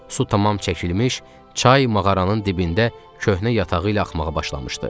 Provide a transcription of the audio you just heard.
Su tamam çəkilmiş, çay mağaranın dibində köhnə yatağı ilə axmağa başlamışdı.